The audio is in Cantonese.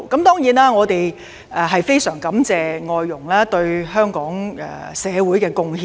當然，我們非常感謝外傭對香港社會的貢獻。